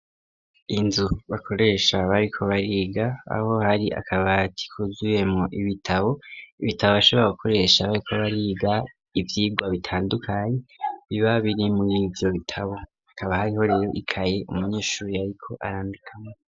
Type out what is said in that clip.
Inzu bakoresha bariko bariga, aho hari akabati kuzuyemwo ibitabo, ibitabo bashobora gukoresha bariko bariga ivyigwa bitandukanye biba biri murivyo bitabo, akaba hariho rero ikaye umunyeshuri ariko arandikamwo.